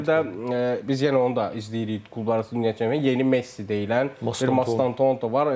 Bir də biz yenə onu da izləyirik klubların dünya çempionatı yeni Messi deyilən bir Mastanto var.